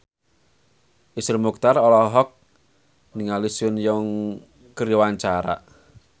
Iszur Muchtar olohok ningali Sun Yang keur diwawancara